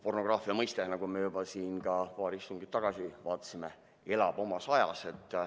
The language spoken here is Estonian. Pornograafia mõiste, nagu me juba siin paar istungit tagasi vaatasime, elab omas ajas.